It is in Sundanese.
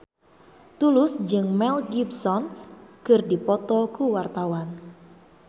Tulus jeung Mel Gibson keur dipoto ku wartawan